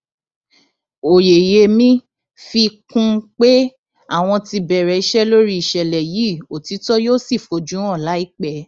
oyeyèmí fi kún un pé àwọn ti bẹrẹ iṣẹ lórí ìṣẹlẹ yìí òtítọ yóò sì fojú hàn láìpẹ